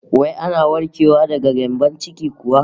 Wai ana warkewa daga gyambon ciki kuwa?